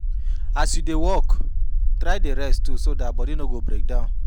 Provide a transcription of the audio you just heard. As yu dey work, try dey rest too so dat body no go break down